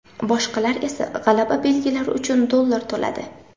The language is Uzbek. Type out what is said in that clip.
Boshqalar esa g‘alaba belgilari uchun dollar to‘ladi.